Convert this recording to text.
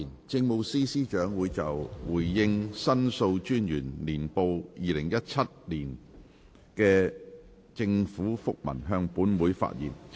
政務司司長會就"回應《申訴專員年報2017》的政府覆文"向本會發言。